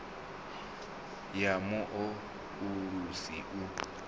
ya mu o ulusi u